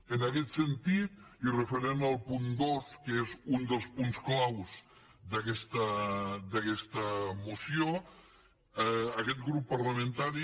en aquest sentit i referent al punt dos que és un dels punts clau d’aquesta moció aquest grup parlamentari